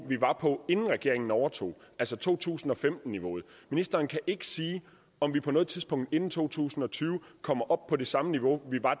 vi var på inden regeringen overtog altså to tusind og femten niveauet ministeren kan ikke sige om vi på noget tidspunkt inden to tusind og tyve kommer op på det samme niveau vi var